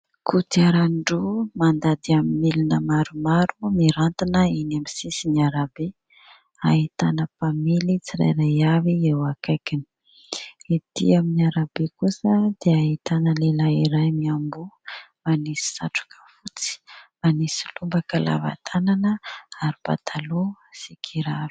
Kodiarandro mandady amin'ny milina maromaro mirantina eny amin'ny sisin'arabe. Ahitana mpamily tsirairay avy eo akaikiny. Ety amin'ny arabe kosa dia ahitana lehilahy iray miamboha, manisy satroka fotsy, manisy lobaka lava tanana ary pataloha sy kiraro.